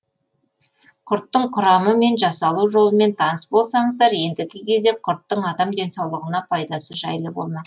құрттың құрамы мен жасалу жолымен таныс болсаңыздар ендігі кезек құрттың адам денсаулығына пайдасы жайлы болмақ